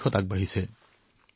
এই পদক্ষেপক উদগনি দিব লাগে